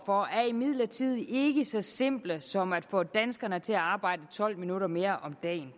for er imidlertid ikke så simple som at få danskerne til at arbejde tolv minutter mere om dagen